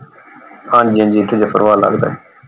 ਹਾਂਜੀ ਹਾਂਜੀ ਇਥੇ ਜਫਰਵਾਲ ਲੱਗਦਾ ਸੀ।